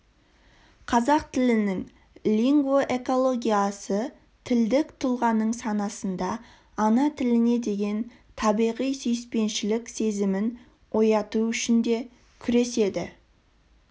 қазақ тілінің лингвоэкологиясы тілдік тұлғаның санасында ана тіліне деген табиғи сүйіспеншілік сезімін ояту үшін де күреседі